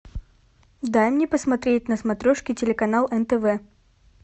дай мне посмотреть на смотрешке телеканал нтв